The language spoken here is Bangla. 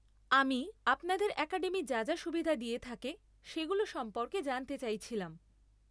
আমি আপনাদের অ্যাকাডেমি যা যা সুবিধা দিয়ে থাকে সেগুলো সম্পর্কে জানতে চাইছিলাম।